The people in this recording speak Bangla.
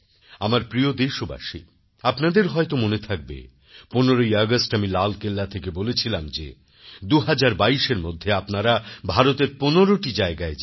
আমার প্রিয় দেশবাসী আপনাদের হয়তো মনে থাকবে ১৫ আগস্ট আমি লালকেল্লা থেকে বলেছিলাম যে ২০২২এর মধ্যে আপনারা ভারতের পনেরোটি জায়গায় যান